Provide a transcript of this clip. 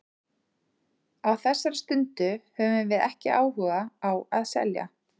Á þessari stundu höfum við ekki áhuga á að selja.